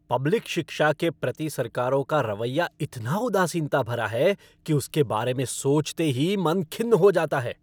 Public शिक्षा के प्रति सरकारों का रवैया इतना उदासीनता भरा है कि उसके बारे में सोचते ही मन खिन्न हो जाता है।